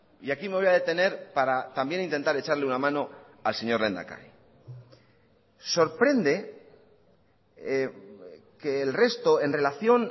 y aquí me voy a detener para también intentar echarle una mano al señor lehendakari sorprende que el resto en relación